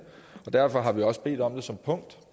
og derfor har vi også bedt om det som punkt